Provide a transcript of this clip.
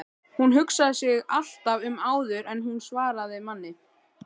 Hún hugsaði sig alltaf um áður en hún svaraði manni.